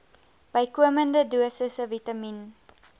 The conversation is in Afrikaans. bykomende dosisse vitamien